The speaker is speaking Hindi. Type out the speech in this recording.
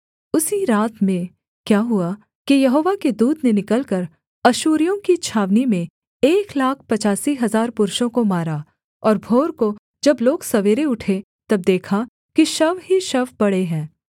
उसी रात में क्या हुआ कि यहोवा के दूत ने निकलकर अश्शूरियों की छावनी में एक लाख पचासी हजार पुरुषों को मारा और भोर को जब लोग सवेरे उठे तब देखा कि शव ही शव पड़े है